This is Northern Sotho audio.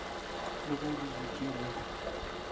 le ge re dutše re